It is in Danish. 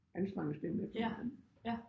Anstrenge stemmen simpelthen